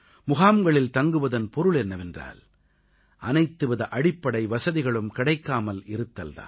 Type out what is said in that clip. முகாம்களில் தங்குவதன் பொருள் என்னவென்றால் அனைத்துவித அடிப்படை வசதிகளும் கிடைக்காமல் இருத்தல் தான்